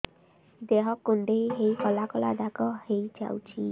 ଦେହ କୁଣ୍ଡେଇ ହେଇ କଳା କଳା ଦାଗ ହେଇଯାଉଛି